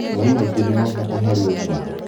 Maĩi maingĩ nĩ ma bata harĩ ũgima